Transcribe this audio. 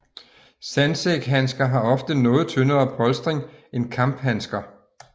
Sandsækhandsker har oftere noget tyndere polstring end kamphandsker